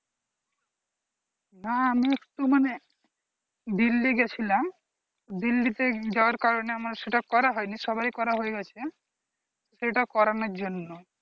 না আমি একটু মানে দিল্লী গেছিলাম দিল্লিতে যাওয়ার কারণে আমার সেটা করা হয়নি সবার করা হয়ে গেছে সেটা করানোর জন্যই